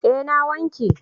Eh na wanke.